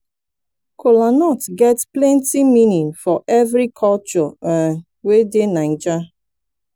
kolanut get plenti meaning for evri koture um wey dey naija